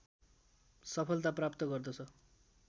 सफलता प्राप्त गर्दछ